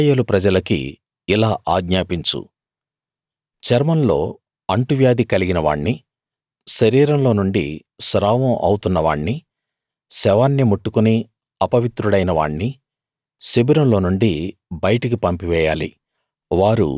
ఇశ్రాయేలు ప్రజలకి ఇలా ఆజ్ఞాపించు చర్మంలో అంటువ్యాధి కలిగిన వాణ్ణీ శరీరంలో నుండి స్రావం అవుతున్న వాణ్ణీ శవాన్ని ముట్టుకుని అపవిత్రుడైన వాణ్ణి శిబిరంలో నుండి బయటికి పంపివేయాలి